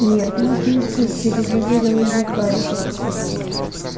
нет нас не исключили заверил её гарри